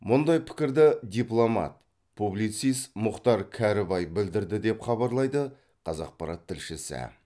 мұндай пікірді дипломат публицист мұхтар кәрібай білдірді деп хабарлайды қазақпарат тілшісі